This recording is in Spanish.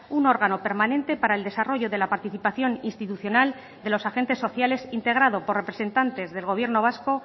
un órgano permanente para el desarrollo de la participación institucional de los agentes sociales integrado por representantes del gobierno vasco